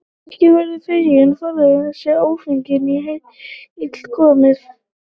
Ekki verður feigum forðað né ófeigum í hel komið.